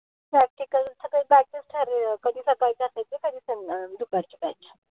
Practical सगळे batches ठरलेले, कधी सकाळी कधी अं दुपारची batch.